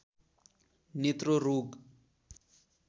नेत्र रोग